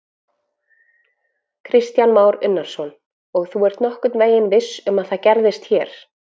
Kristján Már Unnarsson: Og þú ert nokkurn veginn viss um að það gerist hér?